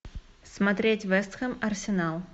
смотреть вест хэм арсенал